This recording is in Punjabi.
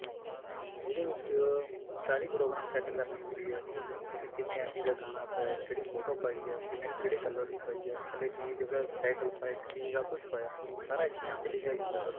ਜਿਹਦੇ ਵਿੱਚ ਸਾਰੀ programming set ਕਰਨੀ ਹੁੰਦੀ ਤੁਸੀਂ ਕਿੰਨੇ MB ਦਾ ਗਾਣਾ ਆਪਾਂ ਕਿਹੜੀ ਫੋਟੋ ਪਾਈ ਆ ਕਿੰਨੇ ਕਿਹੜੇ color ਦੀ ਪਾਈ ਆ ਤੇ ਕੀ ਉਹਦਾ title ਪਾਇਆ ਤੇ ਕੀ ਸਭ ਕੁਛ ਪਾਇਆ ਸਾਰਾ HTML ਚ ਲਿਖਿਆ ਜਾਂਦਾ